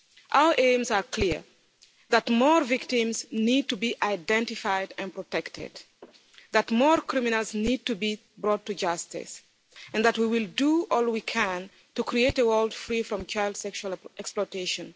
Our aims are clear that more victims need to be identified and protected that more criminals need to be brought to justice and that we will do all we can to create a world free from child sexual exploitation.